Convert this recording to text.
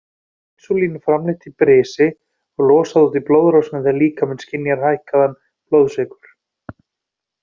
Insúlín er framleitt í brisi og losað út í blóðrásina þegar líkaminn skynjar hækkaðan blóðsykur.